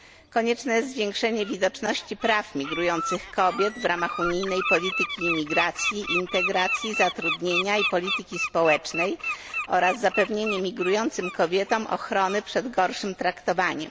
Konieczne jest zwiększenie widoczności praw migrujących kobiet w ramach unijnej polityki migracji, integracji, zatrudnienia i polityki społecznej oraz zapewnienie migrującym kobietom ochrony przed gorszym traktowaniem.